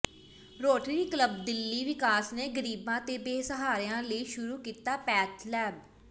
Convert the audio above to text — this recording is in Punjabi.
ਰੋਟਰੀ ਕਲੱਬ ਦਿੱਲੀ ਵਿਕਾਸ ਨੇ ਗ਼ਰੀਬਾਂ ਤੇ ਬੇਸਹਾਰਿਆਂ ਲਈ ਸ਼ੁਰੂ ਕੀਤੀ ਪੈਥ ਲੈਬ